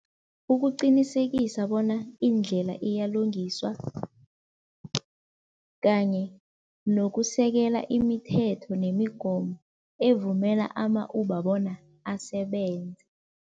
Ukuqinisekisa bona indlela iyalungiswa kanye nokusekela imithetho nemigomo evumela ama-Uber bona asebenze.